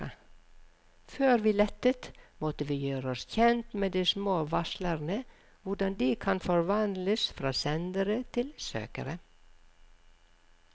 Før vi lettet, måtte vi gjøre oss kjent med de små varslerne, hvordan de kan forvandles fra sendere til søkere.